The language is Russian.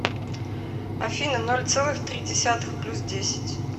афина ноль целых три десятых плюс десять